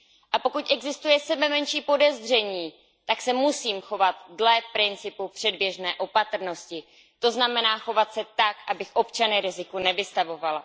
A pokud existuje sebemenší podezření, tak se musím chovat dle principu předběžné opatrnosti, to znamená chovat se tak, abych občany riziku nevystavovala.